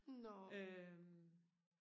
nåå